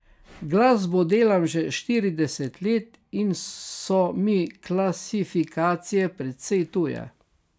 Glasbo delam že štirideset let in so mi klasifikacije precej tuje.